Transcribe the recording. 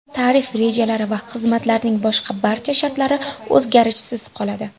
Tarif rejalari va xizmatlarning boshqa barcha shartlari o‘zgarishsiz qoladi.